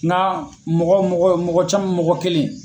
Na mɔgɔ mɔgɔ mɔgɔ caman mɔgɔ kelen.